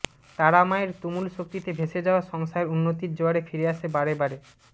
তারা মায়ের তুমুল শক্তিতে ভেসে যাওয়া সংসার উন্নতির জোয়ারে ফিরে আসে বারেবারে